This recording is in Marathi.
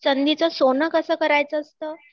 त्या संधीच सोन कसं करायचं असतं